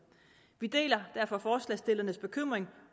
vi deler derfor forslagsstillernes bekymring